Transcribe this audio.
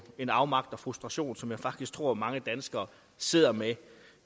en afmagt og frustration som jeg faktisk tror mange danskere sidder med